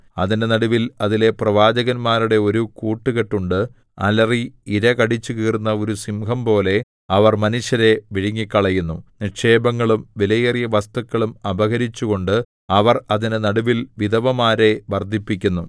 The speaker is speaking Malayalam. അതിന്റെ നടുവിൽ അതിലെ പ്രവാചകന്മാരുടെ ഒരു കൂട്ടുകെട്ടുണ്ട് അലറി ഇര കടിച്ചുകീറുന്ന ഒരു സിംഹംപോലെ അവർ മനുഷ്യരെ വിഴുങ്ങിക്കളയുന്നു നിക്ഷേപങ്ങളും വിലയേറിയ വസ്തുക്കളും അപഹരിച്ചുകൊണ്ട് അവർ അതിന്റെ നടുവിൽ വിധവമാരെ വർദ്ധിപ്പിക്കുന്നു